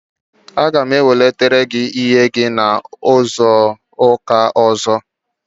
Aga m ewelata ọla olu ahụ n'izuụka ọzọ.